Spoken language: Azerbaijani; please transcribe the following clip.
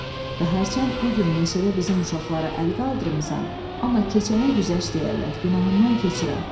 Və hərçənd bu gün meşədə bizim uşaqlara əl qaldırmısan, amma keçənə güzəşt deyərlər, günahından keçirəm.